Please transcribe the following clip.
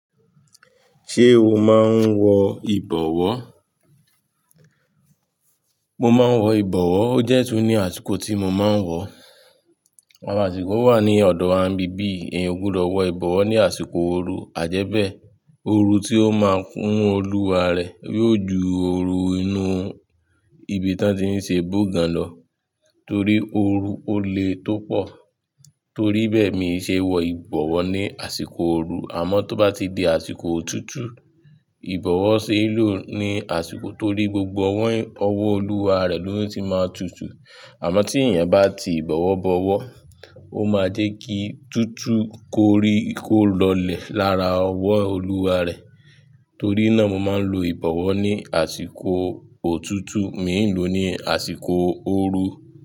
Ṣé o máa ń wọ ìbọwọ́? Mo máa wọ ìbọwọ́, ó dẹ́ tún ní àsìkò tí mo máa ń wọ̀. Awon àsìkó mi wa ní ọ̀dọ̀ wa bíbi yi eyan ó gbudo wọ ìbọwọ́ ní àsìkò ooru, àjẹ́bẹ̀ẹ́ ooru tí ó máa kúnu olúwàrẹ̀, yóò ju ooru inú ibi tán ti ń ṣe bugan lọ. Torí ooru ó lé tó pọ̀. Torí bẹ́ẹ̀ mi ṣeé wọ ìbọwọ́ ní àsìkò ooru, àmọ́ tó bá ti di àsìkò òtútú ìbọwọ́ ṣeé lò ní àsìkò torí gbogbo ọ̀wọ́ olúwárẹ̀ lọ́ tun ti máa tutù. Àmọ́ tí èyàn bá ti ìbọwọ́ bọwọ́, ó máa jẹ́ kí tútú kórí kó lọlẹ̀ lára ọ̀wọ́ olúwarẹ̀. Torí náà mo máa ń lo ìbọwọ́ ní àsìkò òtútù, mìí lò ní àsìkò ooru.